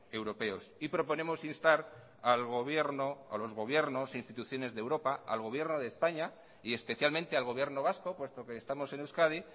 europeos y proponemos instar a los gobiernos a las instituciones de europa al gobierno de españa y especialmente al gobierno vasco puesto que estamos en euskadi